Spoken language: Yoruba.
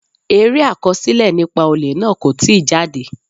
Eré àkọsílẹ̀ nípa olè náà kò tí jáde.